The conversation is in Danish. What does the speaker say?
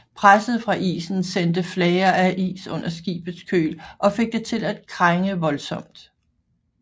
Presset fra isen sendte flager af is under skibets køl og fik det til at krænge voldsomt